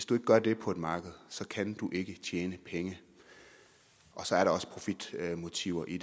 du gør det på et marked kan du ikke tjene penge så er der også profitmotiver i